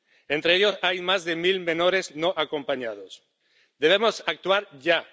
Entre ellos, hay más de mil menores no acompañados. Debemos actuar ya.